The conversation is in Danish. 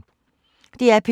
DR P2